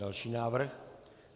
Další návrh.